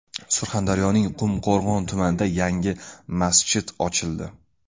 Surxondaryoning Qumqo‘rg‘on tumanida yangi masjid ochildi.